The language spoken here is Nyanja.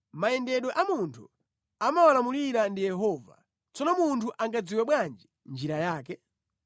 Mayendedwe a munthu amawalamulira ndi Yehova, tsono munthu angadziwe bwanji njira yake?